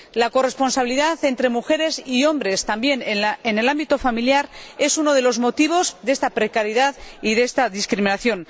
La falta de corresponsabilidad entre mujeres y hombres también en el ámbito familiar es uno de los motivos de esta precariedad y de esta discriminación.